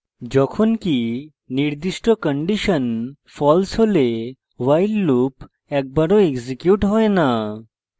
যখনকি নির্দিষ্ট condition false হলে while loop একবারও এক্সিকিউট হয় না